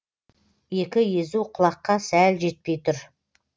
екі езу құлаққа сәл жетпей тұр